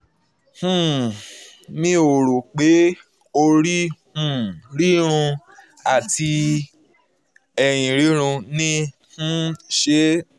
um mi ò rò pé orí um rírun àti ẹ̀yìn rírun ní í um ṣe